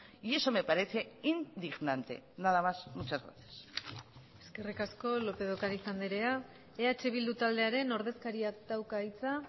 y eso me parece indignante nada más muchas gracias eskerrik asko lópez de ocariz andrea eh bildu taldearen ordezkariak dauka hitza